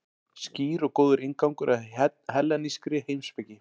Skýr og góður inngangur að hellenískri heimspeki.